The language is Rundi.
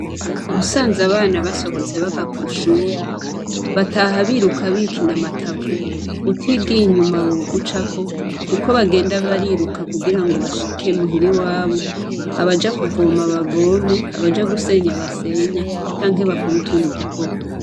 Usanze abana basohotse bava kwishure bataha biruka bigina matavu utigiye inyuma bogucako kuko bagenda bariruka kugira ngo bashike muhira iwabo abaja kuvoma bazome abaja gusenya basenye canke bakore utundi dukorwa